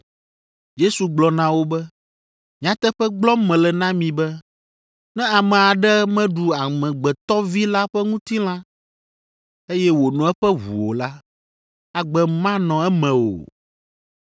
Yesu gblɔ na wo be, “Nyateƒe gblɔm mele na mi be, ne ame aɖe meɖu Amegbetɔ Vi la ƒe ŋutilã, eye wòno eƒe ʋu o la, agbe manɔ eme o.